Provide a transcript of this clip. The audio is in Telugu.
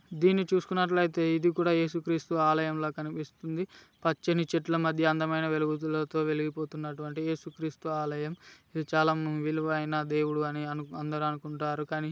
దీన్ని చూస్కునట్లు ఐతే ఇది కూడా యేసు క్రిస్తు ఆలయం ల కనిపిస్తుంది. పచ్చని చెట్ల మధ్య అందమైన వెలుగులతో వెలుగుతున్నటూవంటి యేసు క్రిస్తు ఆలయం. ఇది చాలా విలువైన దేవుడు అని అందరూ అనుకుంటారు కానీ --